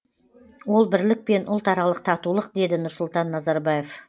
ол бірлік пен ұлтаралық татулық деді нұрсұлтан назарбаев